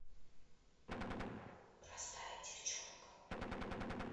простая девчонка